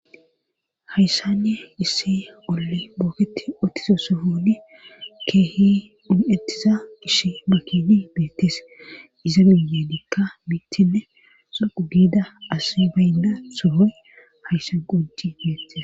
hayssanne issi olle booketi otiso so hudi keehi dhun7ettiza ishi makidi beettes iza biye dikka mittinne sogu giida as baynda sohoy hayssa guji beettes